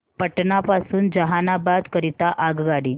पटना पासून जहानाबाद करीता आगगाडी